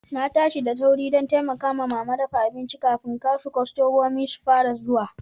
Na tashi da sauri dan taimaka mama dafa abincin kafin kasu kostomomi su fara zuwa.